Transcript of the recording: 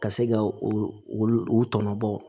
Ka se ka u u tɔnɔ bɔ